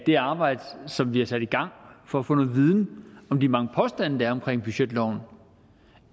det arbejde som vi har sat i gang for at få noget viden om de mange påstande der er omkring budgetloven